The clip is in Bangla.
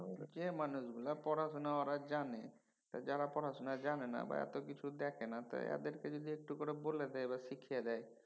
যে মানুশগুলা পড়াশুনা ওরা জানে যারা পড়াশুনা জানেনা বা এত কিছু দেখেনা তয় এদেরকে যদি একটু করে বলে দেয় বা শিখিয়ে দেয়